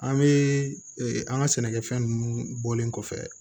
An bɛ an ka sɛnɛkɛfɛn ninnu bɔlen kɔfɛ